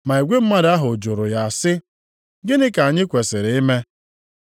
Ma igwe mmadụ ahụ jụrụ ya sị, “Gịnị ka anyị kwesiri ime?”